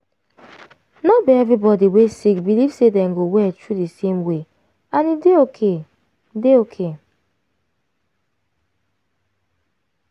no be every body wey sick believe say dem go well through di same way and e dey okay. dey okay.